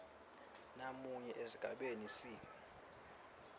namunye esigabeni c